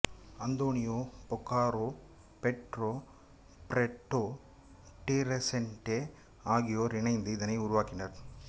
Antonio Bocarro Pedro Barreto de Resende ஆகியோர் இணைந்து இதனை உருவாக்கினர்